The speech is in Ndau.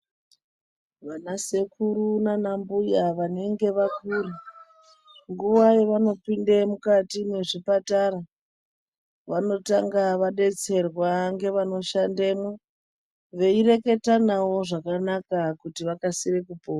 Vana sekuru nana mbuya vanenge vakura nguwa yavanopinda mukati memuzvipatara vanotanga vadetserwa vanoshandamo veireketa navo zvakanaka kuti vakasire kupora.